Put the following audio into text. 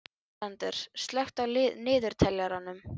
Alexander, slökktu á niðurteljaranum.